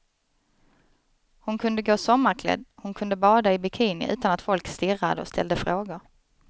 Hon kunde gå sommarklädd, hon kunde bada i bikini utan att folk stirrade och ställde frågor.